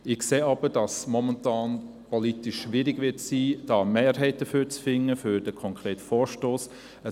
Ich sehe auch, dass es momentan politisch schwierig ist, eine Mehrheit für diesen konkreten Vorstoss zu finden.